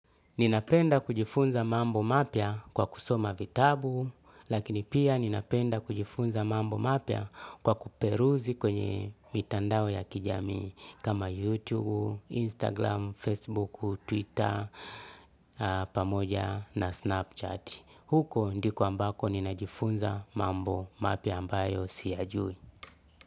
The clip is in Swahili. Ninapenda kujifunza mambo mapya kwa kusoma vitabu lakini pia ninapenda kujifunza mambo mapya kwa kuperuzi kwenye mitandao ya kijamii kama YouTube, Instagram, Facebook, Twitter, pamoja na Snapchat. Huko ndiko ambako ninajifunza mambo mapya ambayo siyajui.